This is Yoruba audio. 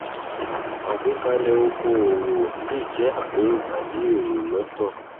àgbékalẹ okòòwò le jẹ àpérò tàbí èrò lọtọ